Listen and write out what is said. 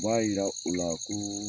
B'a jira o la ko